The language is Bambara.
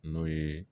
N'o ye